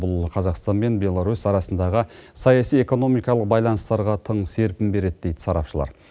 бұл қазақстан мен беларусь арасындағы саяси экономикалық байланыстарға тың серпін береді дейді сарапшылар